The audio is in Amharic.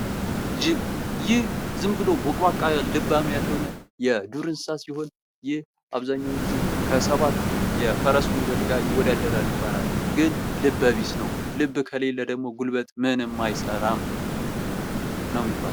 ጅብ ይህ ዝም ብሎ ቦቅቧቃ ልባም ያልሆነ የዱር እንስሳ ሲሆን ይህ አብዛኛውን ጊዜ ከሰባት የፈረስ ጉልበት ጋር ይወዳደራል ይባላል። ግን ልበቢስ ነው። ልብ ከሌለ ደግሞ ጉልበት ምንም አይሰራም!! ነው የሚባለው።